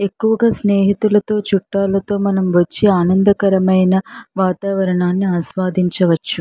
ఎక్కువగా స్నేహితులతో చుట్టలతో మనం వచ్చి ఆనందకరమైన వాతావరణాన్ని ఆస్వాదించవచ్చు.